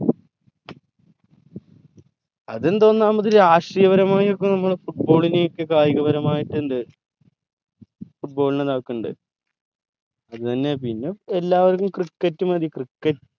അതെന്താ ഒന്നാമത് രാഷ്ട്രീയപരമായി ഒക്കെ നമ്മൾ football നേക്ക് കായികപരമായിട്ട് ഇണ്ട് football നെ നേർക്ക് ഇണ്ട് അത് തന്നെ പിന്നെ എല്ലാർക്കും cricket മതി cricket